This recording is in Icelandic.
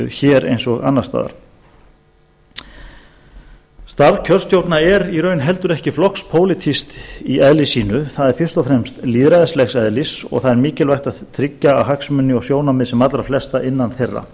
hér eins og annars staðar starf kjörstjórna er í raun heldur ekki flokkspólitískt í eðli sínu það er fyrst og fremst lýðræðislegs eðlis og það er mikilvægt að tryggja hagsmuni og sjónarmið sem allra flestra innan þeirra